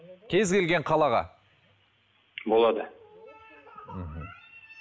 кез келген қалаға болады мхм